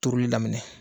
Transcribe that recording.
Turuli daminɛ